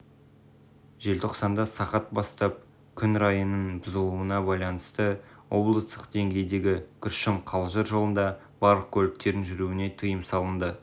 желтоқсанда сағат бастап күн райының бұзылуына байланысты облыстық деңгейдегі күршім-қалжыр жолында барлық көліктердің жүруіне тыйым салынды